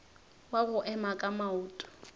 wa go ema ka maoto